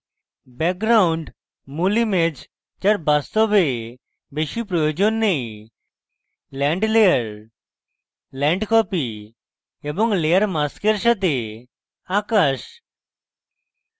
background মূল image যার বাস্তবে বেশী প্রয়োজন নেই land layer land copy এবং layer mask সাথে আকাশ